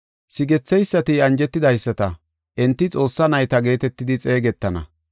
Sigetheysati anjetidaysata, enti Xoossaa nayta geetetidi xeegetana.